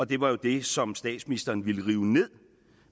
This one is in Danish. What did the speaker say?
det var jo det som statsministeren ville rive ned